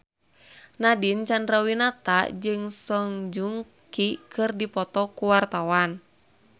Nadine Chandrawinata jeung Song Joong Ki keur dipoto ku wartawan